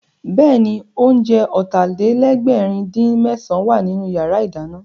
Bẹ́ẹ̀ni, oúnjẹ Ọ̀tàlélẹ̀ẹ́dẹ́gbẹ̀rin-dín-mésàn wà nínú yàrá ìdáná